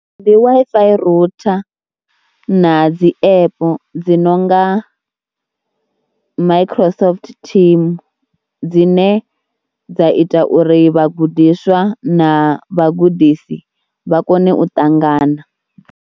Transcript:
Ndi Wi-Fi rooter na dzi app dzi no nga Microsoft Team dzine dza ita uri vhagudiswa na vhagudisi vha kone u ṱangana.